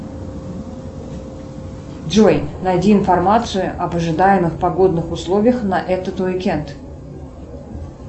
джой найди информацию об ожидаемых погодных условиях на этот уикенд